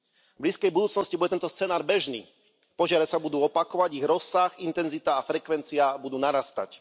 V blízkej budúcnosti bude tento scenár bežný, požiare sa budú opakovať, ich rozsah, intenzita a frekvencia budú narastať.